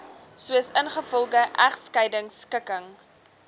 soos ingevolge egskeidingskikking